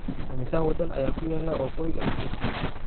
imisa wadan ayaa ku yaala waqooyiga afrika